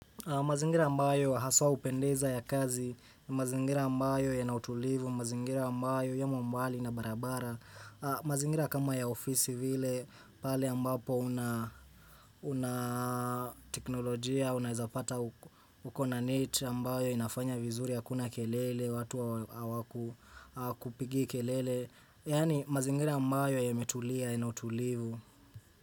Mazingira ambayo haswa hupendeza ya kazi, mazingira ambayo yanautulivu, mazingira ambayo yamo mbali na barabara, mazingira kama ya ofisi vile pale ambapo una teknolojia, unaezapata uko na net, ambayo inafanya vizuri hakuna kelele, watu hawaku kupigi kelele, yaani mazingira ambayo yametulia yanautulivu.